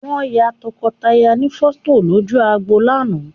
Wọ́n ya tọkọtaya ní fọ́tò lójú agbo lánàá